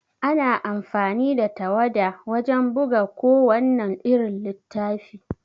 Ana amfani da tawada wajan buga ku wannan irin littafi